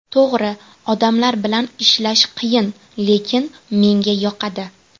To‘g‘ri, odamlar bilan ishlash qiyin, lekin menga yoqadi.